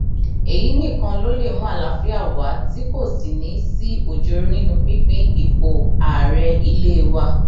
èyí nìkan ló lè mú àlàáfíà wa tí kò sì ní í sí ọjọọrọ nínú pínpín ipò ààrẹ ilé wa